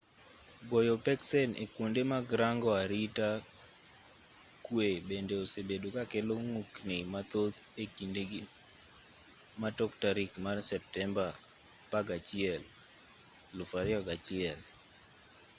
goyo peksen e kwonde mag rango arita kwe bende osebedo ka kelo ng'ukni mathoth e kinde gi ma tok tarik mar septemba 11,2001